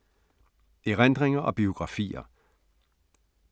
Erindringer og biografier